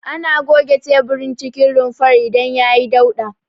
Ana goge teburin cikin rumfar idan yayi dauɗa.